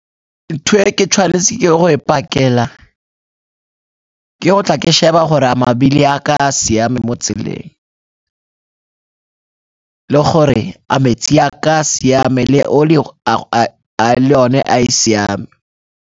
Ntho e ke tshwanetse ke ye go e pakela ke go tla ke sheba gore a mabili a ka siame mo tseleng le gore a metsi a ka siame le oli le yone a e siame.